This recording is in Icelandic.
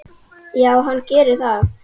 Já, hann gerir það